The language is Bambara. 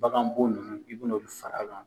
Bagan bo nunnu, i bin'olu fara kan